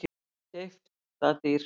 Keypt það dýrt.